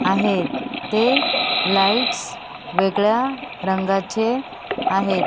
आहेत ते लाइट्स वेगळ्या रंगाचे आहेत.